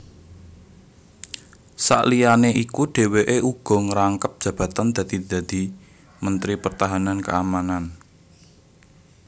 Saliyané iku dhèwèké uga ngrangkep jabatan dadi dadi Mentri Pertahanan Keamanan